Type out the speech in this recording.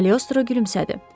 Kalyostro gülümsədi.